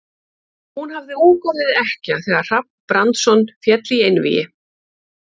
Hún hafði ung orðið ekkja þegar Hrafn Brandsson féll í einvígi.